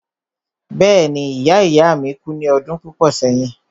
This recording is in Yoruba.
Bẹ́ẹ̀ni ìya ìya ìya mi kú ní ọdún púpọ̀ sẹ́yìn.